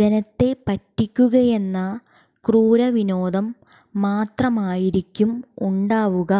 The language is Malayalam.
ജനത്തെ പറ്റിക്കുകയെന്ന ക്രൂരവിനോദം മാത്രമായിരിക്കും ഉണ്ടാവുക